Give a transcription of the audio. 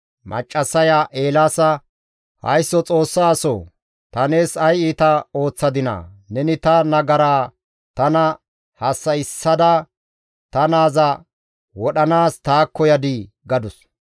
Maccassaya Eelaasa, «Haysso Xoossa asoo! Ta nees ay iita ooththadinaa? Neni ta nagaraa tana hassa7issada ta naaza wodhanaas taakko yadii?» gadus.